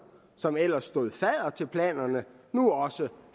som ellers stod fadder til planerne nu også